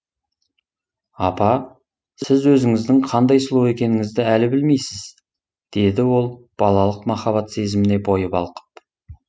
апа сіз өзіңіздің қандай сұлу екеніңізді әлі білмейсіз деді ол балалық махаббат сезіміне бойы балқып